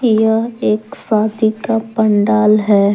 यह एक शादी का पंडाल है।